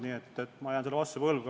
Nii et ma jään selle vastuse võlgu.